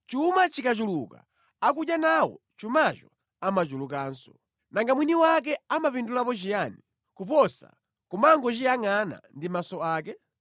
Chuma chikachuluka akudya nawo chumacho amachulukanso. Nanga mwini wake amapindulapo chiyani kuposa kumangochiyangʼana ndi maso ake?